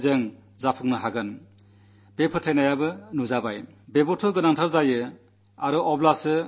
എന്നാൽ തുടക്കം നന്നായി വളരെ ശ്രമങ്ങൾ നടത്തി നാം വിജയിക്കും എന്ന വിശ്വാസവുമുണ്ടായിട്ടുണ്ട്